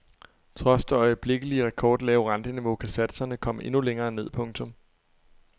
Trods det øjeblikkelige rekordlave renteniveau kan satserne komme endnu længere ned. punktum